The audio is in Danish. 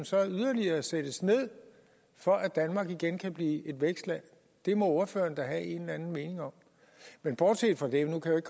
så yderligere sættes ned for at danmark igen kan blive et vækstland det må ordføreren da have en eller anden mening om bortset fra det nu kan